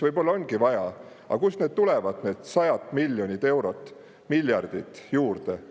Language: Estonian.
Võib-olla ongi vaja, aga kust tulevad juurde need sajad miljonid, miljardid eurod?